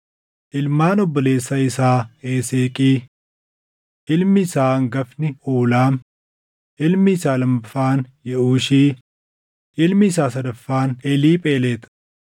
Ilmaan obboleessa isaa Eseeqii: Ilmi isaa hangafni Uulaam, ilmi isaa lammaffaan Yeʼuushi, ilmi isaa sadaffaan Eliiphelexi.